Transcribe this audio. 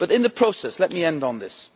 But in the process, let me end on this.